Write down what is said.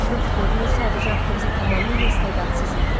Yox, görünür, sadəcə aktrisa tamamilə istedadsız idi.